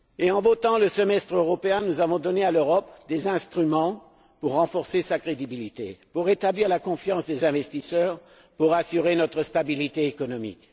En instaurant le semestre européen, nous avons donné à l'Europe des instruments pour renforcer sa crédibilité, pour rétablir la confiance des investisseurs et pour assurer notre stabilité économique.